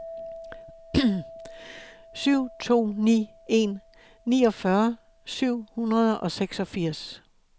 syv to ni en niogfyrre syv hundrede og seksogfirs